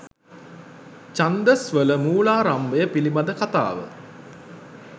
ඡන්දස් වල මූලාරම්භය පිළිබඳ කථාව